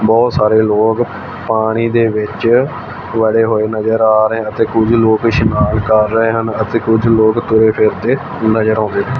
ਬਹੁਤ ਸਾਰੇ ਲੋਕ ਪਾਣੀ ਦੇ ਵਿੱਚ ਵੜੇ ਹੋਏ ਨਜ਼ਰ ਆ ਰਹੇ ਆ ਤੇ ਕੁਝ ਲੋਕ ਇਸ਼ਨਾਨ ਕਰ ਰਹੇ ਹਨ ਅਤੇ ਕੁਝ ਲੋਕ ਤੁਰੇ ਫਿਰਦੇ ਨਜ਼ਰ ਆਉਂਦੇ--